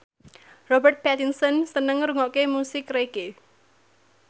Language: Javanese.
Robert Pattinson seneng ngrungokne musik reggae